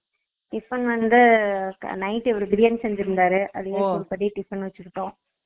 tiffin வந்து night இவரு பிரியாணி செஞ்சுருந்தாரு அதனால இப்பத்திக்கி tiffin வெச்சுருக்கோம்